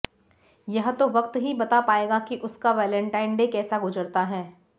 यह तो वक्त ही बता पाएगा कि उसका वेलेंटाइन डे कैसा गुजरता है